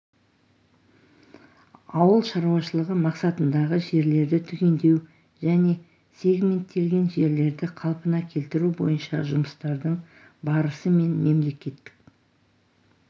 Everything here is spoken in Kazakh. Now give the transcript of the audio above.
ауыл шаруашылығы мақсатындағы жерлерді түгендеу және сегменттелген жерлерді қалпына келтіру бойынша жұмыстардың барысы мен мемлекеттік